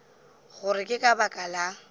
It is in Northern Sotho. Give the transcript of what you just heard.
gore ke ka baka la